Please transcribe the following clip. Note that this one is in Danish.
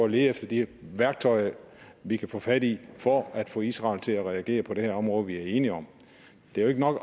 at lede efter de værktøjer vi kan få fat i for at få israel til at reagere på det her område vi er enige om det er jo ikke nok